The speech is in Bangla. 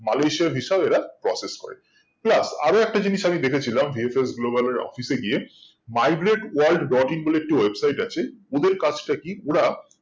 মালয়েশিয়ার visa ও এরা prosse করে আরো একটা জিনিস আমি দেখে ছিলাম VFS Global এর office এ গিয়ে migrate world dot in বলে একটা website আছে ওদের কাজটা কি ওরা